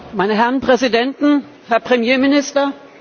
Meine Herren Präsidenten, Herr Premierminister!